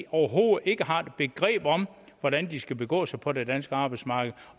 overhovedet ikke har begreb om hvordan de skal begå sig på det danske arbejdsmarked